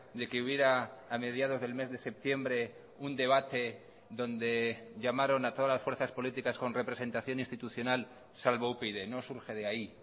de que hubiera a mediados del mes de septiembre un debate donde llamaron a todas las fuerzas políticas con representación institucional salvo upyd no surge de ahí